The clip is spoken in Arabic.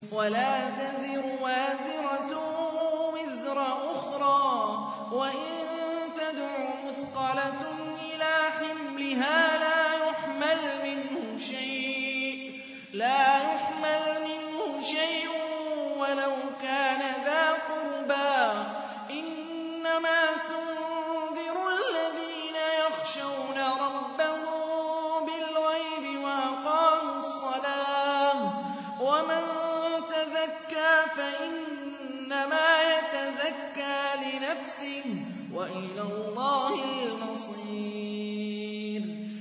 وَلَا تَزِرُ وَازِرَةٌ وِزْرَ أُخْرَىٰ ۚ وَإِن تَدْعُ مُثْقَلَةٌ إِلَىٰ حِمْلِهَا لَا يُحْمَلْ مِنْهُ شَيْءٌ وَلَوْ كَانَ ذَا قُرْبَىٰ ۗ إِنَّمَا تُنذِرُ الَّذِينَ يَخْشَوْنَ رَبَّهُم بِالْغَيْبِ وَأَقَامُوا الصَّلَاةَ ۚ وَمَن تَزَكَّىٰ فَإِنَّمَا يَتَزَكَّىٰ لِنَفْسِهِ ۚ وَإِلَى اللَّهِ الْمَصِيرُ